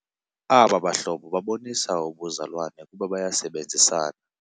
Aba bahlobo babonisa ubuzalwane kuba bayasebenzisana.